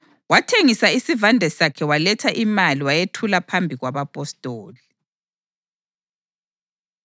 wathengisa isivande sakhe waletha imali wayethula phambi kwabapostoli.